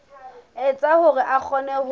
etsa hore a kgone ho